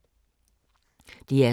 DR2